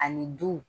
Ani du